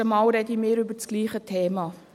Mal sprechen wir über das gleiche Thema.